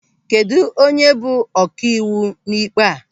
Kedụ onye bụ ọkaiwu n'ịkpe a?